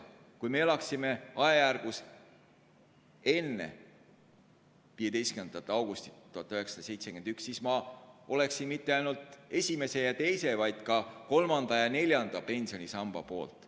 Kui me elaksime ajal, mis eelnes 15. augustile 1971, siis ma poleks mitte ainult esimese ja teise, vaid ka kolmanda ja neljanda pensionisamba poolt.